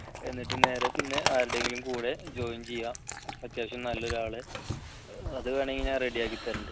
എന്നിട്ട് നേരെ പിന്നെ ആരുടെയെങ്കിലും കൂടെ join ചെയ്യുക അത്യാവശ്യം നല്ല ഒരാളെ അത് വേണമെങ്കിൽ ഞാൻ ready യാക്കി തരണുണ്ട്